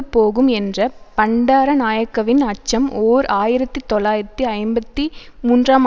போகும் என்ற பண்டாரநாயக்கவின் அச்சம் ஓர் ஆயிரத்தி தொள்ளாயிரத்தி ஐம்பத்தி மூன்றாம்